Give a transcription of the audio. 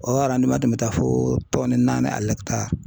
O tun bɛ taa fo tɔni naani